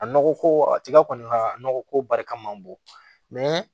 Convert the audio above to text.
A nɔgɔ ko a tiga kɔni ka nɔgɔ ko barika man bon